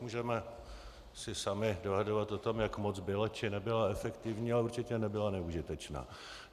Můžeme se sami dohadovat o tom, jak moc byla či nebyla efektivní, ale určitě nebyla neužitečná.